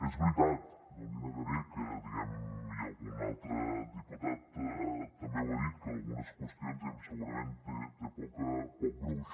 és veritat no li negaré que diguem ne i algun altre diputat també ho ha dit en algunes qüestions segurament té poc gruix